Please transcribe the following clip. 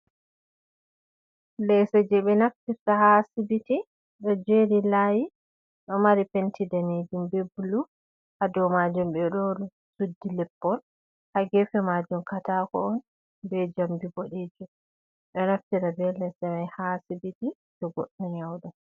Leso je ɓe naftirta ha sibiti. Ɗo jeri layi, ɗo mari penti ɗanejum ɓe bulu. Ha ɗow majum ɓe ɗo suɗɗi leppol. Ha gefe majum katako on, ɓe jamɗi ɓoɗejum. Ɗo naftira ɓe lesemai ha sibiti, to goɗɗo nyauɗo.